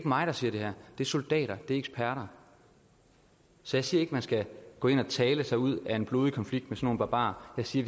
mig der siger det her det er soldater det er eksperter så jeg siger ikke at man skal gå ind og tale sig ud af en blodig konflikt nogle barbarer jeg siger